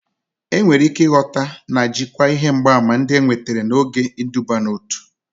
Enwere ike ịghọta na jikwaa ihe mgbaàmà ndị enwetara n'oge iduban'otu.